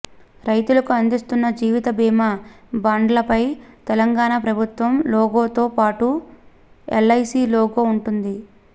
రైతులకు అందిస్తున్న జీవిత బీమా బాండ్లపై తెలంగాణ ప్రభుత్వం లోగోతో పాటు ఎల్ఐసీ లోగో ఉంటుంది